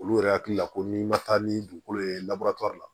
Olu yɛrɛ hakili la ko min ma taa ni dugukolo ye la